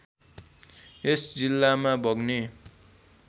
यस जिल्लामा बग्ने